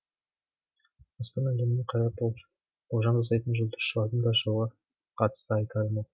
аспан әлеміне қарап болжам жасайтын жұлдызшылардың да жылға қатысты айтары мол